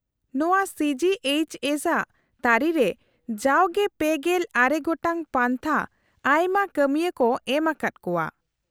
- ᱱᱚᱶᱟ C G H S ᱟᱜ ᱛᱟᱹᱨᱤᱨᱮ ᱡᱟᱣᱜᱮ ᱓᱙ ᱜᱚᱴᱟᱝ ᱯᱟᱱᱛᱷᱟ ᱟᱭᱢᱟ ᱠᱟᱹᱢᱤᱭᱟᱹ ᱠᱚ ᱮᱢ ᱟᱠᱟᱫ ᱠᱚᱣᱟ᱾